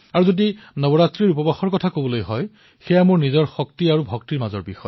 নৱৰাত্ৰিৰ উপবাসৰ কথা কবলৈ গলে এয়া মোৰ শক্তি আৰু ভক্তিৰ মাজৰ বিষয়